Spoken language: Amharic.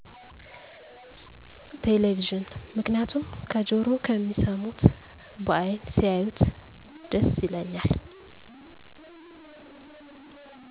ቴሌቪዥን ምክንያቱም ከጀሮ ከሚሰሙት በአይን ሲያዪት ደስ ይለኛል።